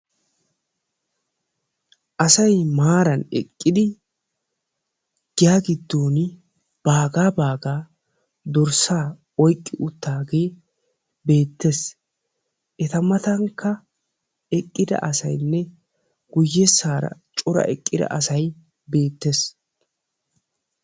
Asay maaran eqqidi giya giddooni baagaa baagaa dorssaa oyiqqi uttaagee beettes . Eta matankka eqqida asayinne guyyessaara cora eqqida asay beettes.